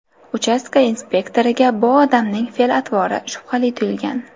Uchastka inspektoriga bu odamning fe’l-atvori shubhali tuyulgan.